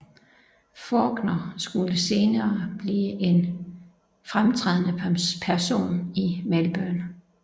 Fawkner skulle senere blive en fremtrædende person i Melbourne